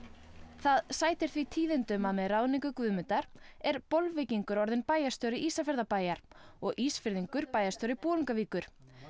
það sætir því tíðindum að með ráðningu Guðmundar er Bolvíkingur orðinn bæjarstjóri Ísafjarðarbæjar og Ísfirðingur bæjarstjóri Bolungarvíkur